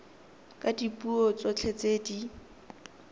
ka dipuo tsotlhe tse di